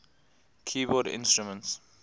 keyboard instruments